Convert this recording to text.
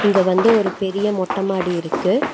இங்க வந்து ஒரு பெரிய மொட்டமாடி இருக்கு.